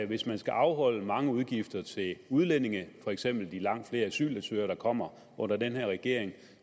hvis man skal afholde mange udgifter til udlændinge for eksempel de langt flere asylansøgere der kommer under den her regering